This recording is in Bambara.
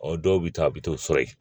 Ɔ dɔw bɛ taa a bɛ t'o sɔrɔ yen